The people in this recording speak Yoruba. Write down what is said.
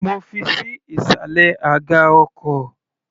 Mo fi ṣí ìsàlẹ̀ aga ọkọ̀.